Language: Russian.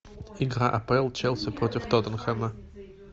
игра апл челси против тоттенхэма